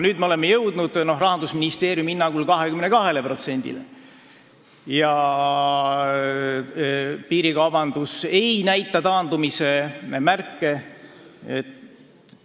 Nüüd me oleme Rahandusministeeriumi hinnangul jõudnud 22%-ni ja piirikaubandus ei näita taandumise märke.